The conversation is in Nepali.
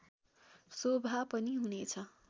शोभा पनि हुनेछ